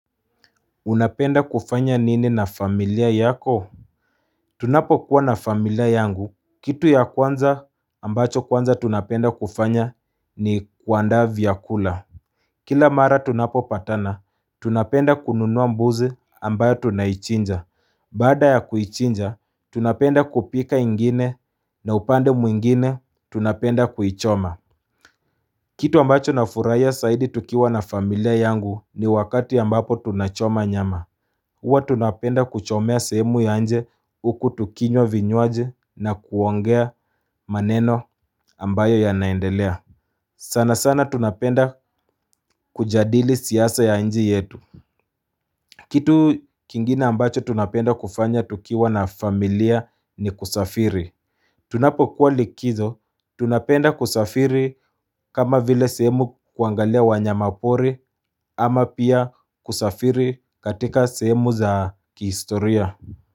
Unapenda kufanya nini na familia yako? Tunapo kuwa na familia yangu, kitu ya kwanza ambacho kwanza tunapenda kufanya ni kuandaa viakula. Kila mara tunapo patana, tunapenda kununua mbuzi ambayo tunaichinja. Baada ya kuichinja, tunapenda kupika ingine na upande mwingine tunapenda kuichoma. Kitu ambacho na furaia saidi tukiwa na familia yangu ni wakati ambapo tunachoma nyama. Huwa tunapenda kuchomea sehemu ya nje huku tukinywa vinywaji na kuongea maneno ambayo ya naendelea. Sana sana tunapenda kujadili siasa ya nje yetu. Kitu kingina ambacho tunapenda kufanya tukiwa na familia ni kusafiri. Tunapo kuwa likizo, tunapenda kusafiri kama vile sehemu kuangalia wanyamapori ama pia kusafiri katika sehemu za kihistoria.